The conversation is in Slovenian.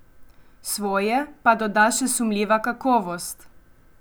Svoje pa doda še sumljiva kakovost.